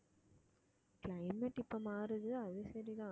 climate இப்ப மாறுது அது சரிதான்